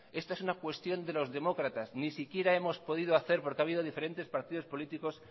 esto es una cuestión de los demócratas ni siquiera hemos podido hacer porque ha habido diferentes partidos políticos